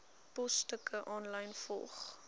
posstukke aanlyn volg